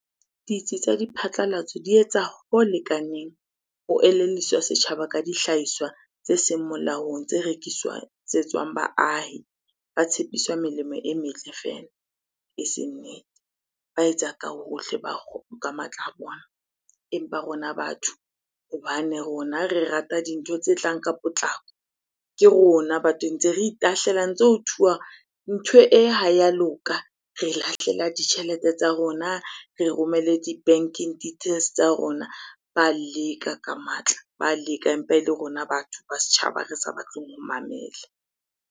Ditsi tsa diphatlalatso di etsa ho lekaneng ho elelliswa setjhaba ka dihlahiswa tse seng molaong, tse rekiswatsetswang baahi. Ba tshepiswa melemo e metle fela, eseng nnete. Ba etsa ka hohle ka matla a bona, empa rona batho hobane rona re rata dintho tse tlang ka potlako. Ke rona batho, ntse re itahlela ntse ho thuwa ntho e ha ya loka. Re lahlela ditjhelete tsa rona, re romelle di-banking details tsa rona. Ba leka ka matla, ba leka empa ele rona batho ba setjhaba re sa batleng ho mamela.